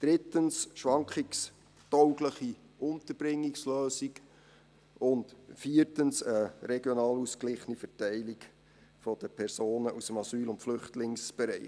Drittens eine schwankungstaugliche Unterbringungslösung, und viertens eine regional ausgeglichene Verteilung der Personen aus dem Asyl- und Flüchtlingsbereich.